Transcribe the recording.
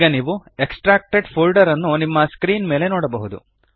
ಈಗ ನೀವು extracted folder ನ್ನು ನಿಮ್ಮ ಸ್ಕ್ರೀನ್ ಮೇಲೆ ನೋಡಬಹುದು